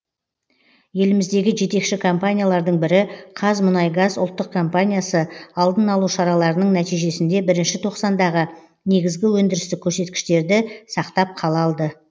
еліміздегі жетекші компаниялардың бірі қазмұнайгаз ұлттық компаниясы алдын алу шараларының нәтижесінде бірінші тоқсандағы негізгі өндірістік көрсеткіштерді сақтап қала алды